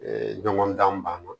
ɲɔgɔn dan banna